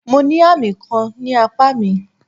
Mo ní àmì kan ní apá mi.